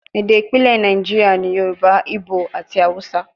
Ede ipilẹ Naijiria ni Yoruba, Igbo ati Hausa